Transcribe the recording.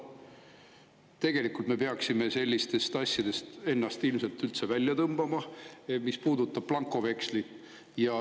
Tegelikult me peaksime sellistest asjadest ennast ilmselt üldse välja tõmbama, mis puudutab blankovekslit.